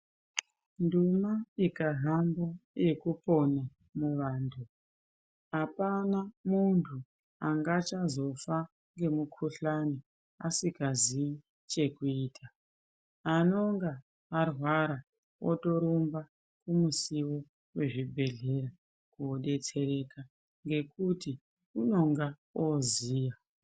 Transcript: Nduma ikahamba yekupona muvanhu apana munhu angachazofa ngemukhuhlana asingaziyi chekuita ,anonga arwara wotorumba kumusiwo wechibhehleya koodetsereka ngekuti unonga wooziya.